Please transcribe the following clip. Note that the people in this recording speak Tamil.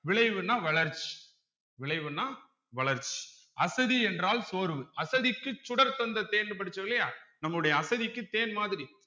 விளைவுன்னா வளர்ச் விளைவுன்னா வளர்ச் அசதி என்றால் சோர்வு அசதிக்கு சுடர் தந்த தேன்ன்னு படிச்சோம் இல்லையா நம்முடைய அசதிக்கு தேன் மாதிரி